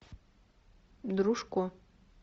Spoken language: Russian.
дружко